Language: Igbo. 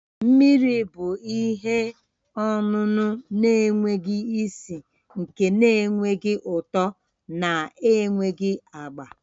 Mmiri bụ ihe ọṅụṅụ na-enweghị isi, nke na-enweghị ụtọ na enweghị agba